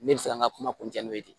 Ne bɛ se ka n ka kuma n'o de ye